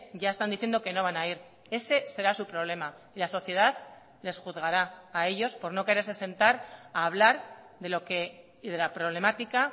ya están diciendo que no van a ir ese será su problema la sociedad les juzgará a ellos por no quererse sentar a hablar de lo que y de la problemática